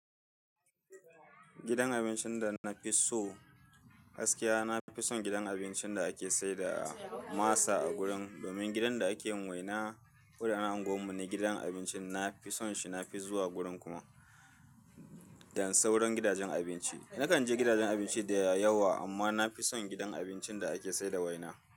Gidan abincin da na fi so, gaskiya na fi son gidan abincin da ake saida masa a gurin domin gidan da ake yin waina. Da na anguwanmu ne gidan abincin na fi son shi. Na fi zuwa gurin kuma dan sauran gidajen abinci. Nakan je gidajen abinci da yawa amma nafi son gidan abincin da ake saida waina.